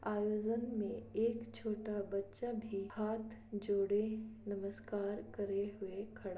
आयोजन में एक छोटा बच्चा भी हाथ जोड़े-- नमस्कार करे हुए खड़ा--